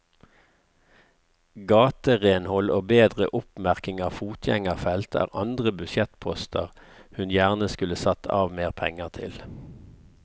Gaterenhold og bedre oppmerking av fotgjengerfelt er andre budsjettposter hun gjerne skulle satt av mer penger til.